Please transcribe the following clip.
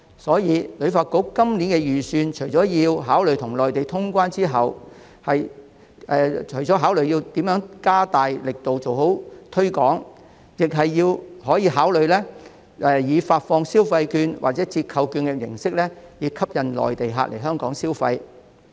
因此，旅發局在今年的預算中，除了要考慮與內地通關後如何加大力度做好推廣工作，亦可考慮以發放消費券或折扣券的形式吸引內地客來港消費。